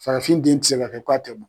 Farafin den ti se ka kɛ ko a tɛ b